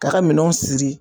Ka ka minɛnw siri.